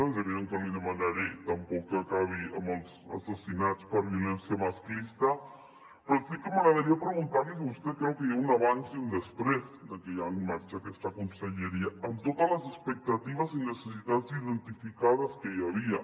és evident que no li demanaré tampoc que acabi amb els assassinats per violència masclista però sí que m’agradaria preguntar li si vostè creu que hi ha un abans i un després de que hi hagi en marxa aquesta conselleria amb totes les expectatives i necessitats identificades que hi havia